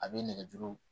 A bɛ nɛgɛ juru